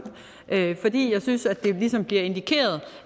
fordi jeg synes at det ligesom bliver indikeret